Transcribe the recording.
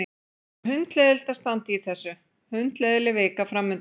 Það er hundleiðinlegt að standa í þessu, hundleiðinleg vika framundan.